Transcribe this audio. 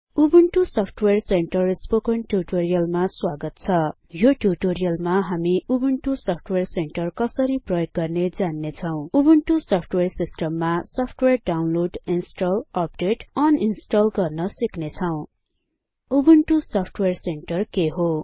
Ubuntu software centre spoken ट्युटोरियलमा स्वागत छ यो ट्युटोरियलमा हामी उबुन्टु सफ्टवेयर सेन्टर कसरी प्रयोग गर्ने जान्ने छौं उबुन्टु सफ्टवेयर सिस्टममा सफ्टवेयर डाउनलोड इन्स्टल अपडेट र अनइन्स्टल गर्न सिक्नेछौं उबुन्टु सफ्टवेयर सेन्टर के हो